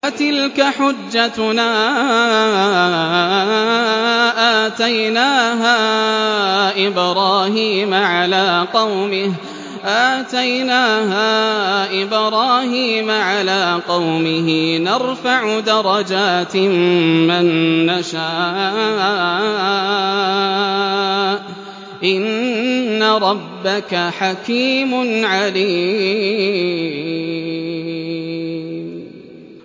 وَتِلْكَ حُجَّتُنَا آتَيْنَاهَا إِبْرَاهِيمَ عَلَىٰ قَوْمِهِ ۚ نَرْفَعُ دَرَجَاتٍ مَّن نَّشَاءُ ۗ إِنَّ رَبَّكَ حَكِيمٌ عَلِيمٌ